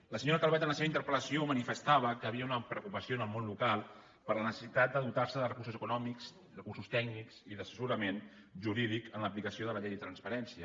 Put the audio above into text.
la senyora calvet en la seva interpel·lació manifestava que hi havia una preocupació en el món local per la necessitat de dotar se de recursos econòmics recursos tècnics i d’assessorament jurídic en l’aplicació de la llei de transparència